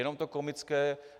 Je to komické.